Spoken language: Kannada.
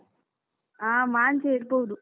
ಹಾ ಮಾಂಜಿಯೇ ಇರ್ಬೋದು.